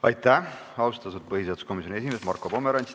Aitäh, austatud põhiseaduskomisjoni esimees Marko Pomerants!